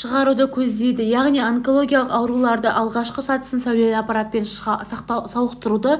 шығаруды көздейді яғни онологиялық аурулардың алғашқы сатысын сәулелі аппаратпен сауықтыруға